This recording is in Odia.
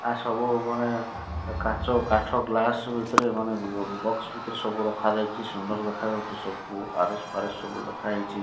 ଆ ସବୁ ମାନେ କାଚ କାଠ ଗ୍ଲାସ୍ ଭିତରେ ମାନେ ବକ୍ସ ଭିତରେ ସବୁ ରଖା ଯାଇଚି ସୁନ୍ଦର ଦେଖା ଯାଉଚି ସବୁ ଆର_ଏସ ଫାରେଶ ଲେଖା ଯାଇଚି ।